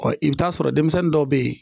Ɔ i bɛ t'a sɔrɔ denmisɛnnin dɔw bɛ yen